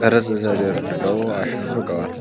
ቅርጽ ተደርድረው አሸብርቀዋል።